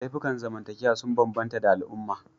Laifukan zamantakewa sun bambanta da al'umma